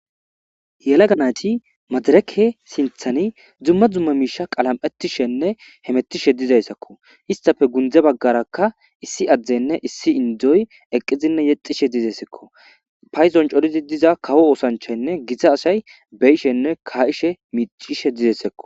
yela ganati madareke sinthani dzumma dzumma miisha qalam7etishenne hemettishe dizayssakko istafe gundze baggarakka issi addenne issi indzoy eqqizinne yexishe dizessekko payzon corizi diza kawo oosanchaynne giza asay beyishenne ka7ishe miicishe dizessekko